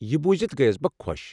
یہِ بوٗزِتھ گٔیَس بہٕ خۄش۔